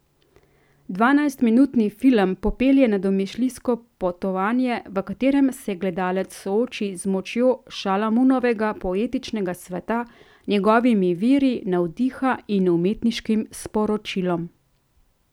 Dvanajstminutni film popelje na domišljijsko potovanje, v katerem se gledalec sooči z močjo Šalamunovega poetičnega sveta, njegovimi viri navdiha in umetniškim sporočilom.